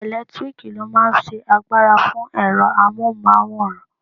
Ẹlẹtíríkì ló máa n ṣe agbára fún ẹ̀rọ amóhùnmáwòrán